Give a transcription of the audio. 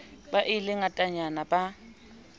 be le e ngatanyana ba